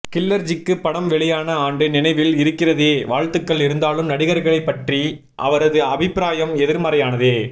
கில்லர்ஜிக்கு படம் வெளியான ஆண்டு நினைவில் இருக்கிறதே வாழ்த்துகள் இருந்தாலும் நடிகர்களைப் பற்றிய அவரதுஅபிப்பிராயம் எதிர்மறையானதே